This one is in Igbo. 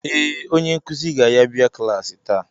Ee, onye nkuzi ga-yabia klaasị taa.